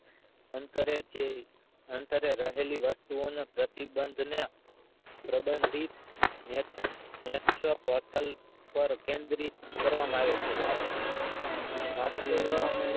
અંતરે જે અંતરે રહેલી વસ્તુ ઓ નું પ્રતિબંધ ને પ્રબંધિત ને ત્રપટલ પર કેન્દ્રિત કરવામાં આવે છે માત્ર